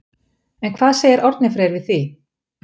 En hvað segir Árni Freyr við því?